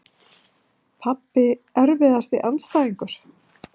Pabbi Erfiðasti andstæðingur?